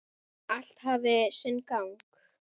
Allt hafi sinn gang.